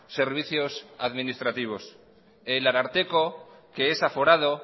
servicios administrativos el ararteko que es aforado